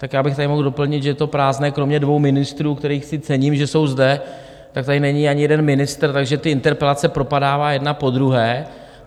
Tak já bych tady mohl doplnit, že je to prázdné kromě dvou ministrů, kterých si cením, že jsou zde, tak tady není ani jeden ministr, takže ty interpelace propadávají jedna po druhé.